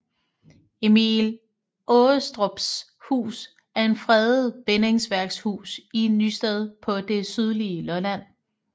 Emil Aarestrups Hus er en fredet bindingsværkshus i Nysted på det sydlige Lolland